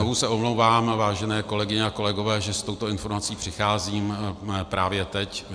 Znovu se omlouvám, vážené kolegyně a kolegové, že s touto informací přicházím právě teď.